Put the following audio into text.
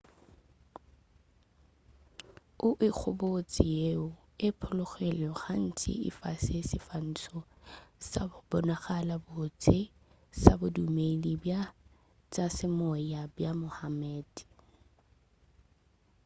o ikgobotše yeo e phologilego gantši e fa seswantšho sa go bonala botse sa bodumedi bja tša semoya bja muhammad